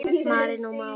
Marinó Már.